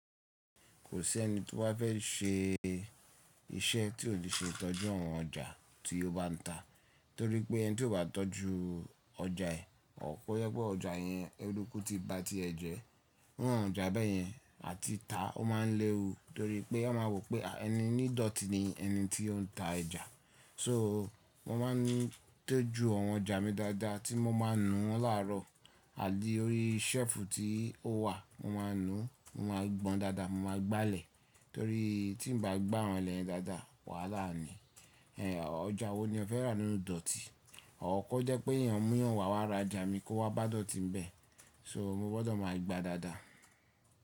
Kò sí ẹni to ba fẹ́ ṣe iṣẹ́ tí ò ṣe ìtọ́jú àwọn ọjà tí ó bá ń ta. Nítorí pé ẹni tí ó bá tọ́jú ọjà ẹ̀, or ko jé pe ọjà yẹn erùkú ti ba ti bajẹ̀. Iru awon ọjà bẹ́ẹ̀ yẹn, à ti ta, ó máa ń léwu, torí pé wọ́n máa rò pé ẹni nídọ̀tí ni ẹni tí ó ń ta oja. So, mo máa ń tọ́jú àwọn ọjà mi dáadáa, tí mo máa ń nu wọn làárọ̀ àtí orí ṣẹ́ẹ̀fù tí ó wà. Mo máa ń nu, mo máa gbọn dáadáa, mo máa gbálẹ̀. Torí tí n bá gbá wọn lẹ́yen dáadáa, wàhálà ni. Ọjà wo ni o fẹ́ rà nínú ìdọ̀tí? Or, ko jẹ́ pé èèyàn mú ìyàn wá ra ọjà mi kó wá bá dọ̀tí bẹ́ẹ̀. So, mo gbọ́dọ̀ máa gba dáadáa.